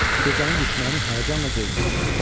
Gecənin düşmənini həyəcanla gözləyirdim.